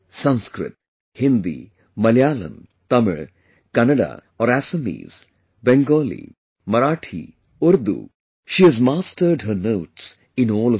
Sanskrit, Hindi, Malayalam, Tamil, Kannada or Assamese, Bengali, Marathi, Urdu, she has mastered her notes in all of them